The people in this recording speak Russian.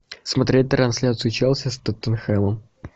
смотреть трансляцию челси с тоттенхэмом